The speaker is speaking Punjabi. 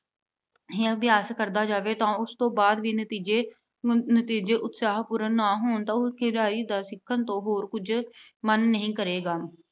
ਜਾਂ ਅਭਿਆਸ ਕਰਦਾ ਜਾਵੇ ਤੇ ਉਸ ਤੋਂ ਬਾਅਦ ਵੀ ਨਤੀਜੇ ਅਹ ਨਤੀਜੇ ਉਤਸ਼ਾਹਪੂਰਨ ਨਾ ਹੋਣ ਤਾਂ, ਉਸ ਖਿਡਾਰੀ ਦਾ ਸਿੱਖਣ ਤੋਂ ਹੋਰ ਕੁਝ ਮਨ ਨਹੀਂ ਕਰੇਗਾ।